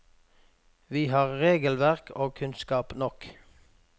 Vi har regelverk og kunnskap nok.